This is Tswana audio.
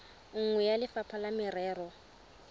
nngwe ya lefapha la merero